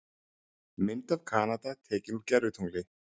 Mynd af Kanada tekin úr gervitungli.